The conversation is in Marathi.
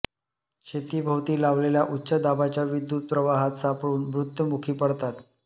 शेतीभोवती लावलेल्या उच्च दाबाच्या विद्युत प्रवाहात सापडून मृत्युमुखी पडतात